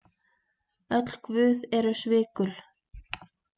Öll guð eru svikul.